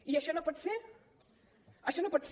i això no pot ser això no pot ser